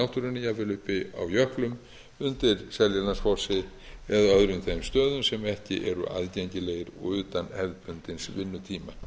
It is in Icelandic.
náttúrunni jafnvel uppi á jöklum undir seljalandsfossi eða öðrum þeim stöðum sem ekki eru aðgengilegir og utan hefðbundins vinnutíma í